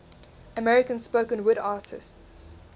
american spoken word artists